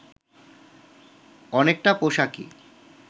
অনেকটা পোশাকি